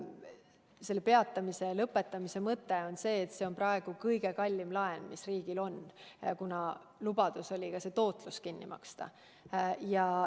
Selle peatamise lõpetamise mõte on see, et see on praegu kõige kallim laen, mis riigil on, kuna lubadus oli ka see tootlus kinni maksta.